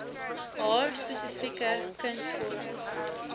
haar spesifieke kunsvorm